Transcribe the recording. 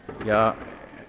ja